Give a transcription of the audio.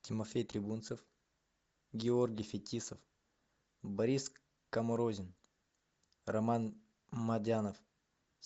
тимофей трибунцев георгий фетисов борис каморзин роман мадянов